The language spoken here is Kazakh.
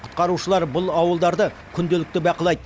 құтқарушылар бұл ауылдарды күнделікті бақылайды